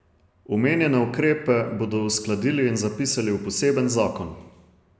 Omenjene ukrepe bodo uskladili in zapisali v poseben zakon.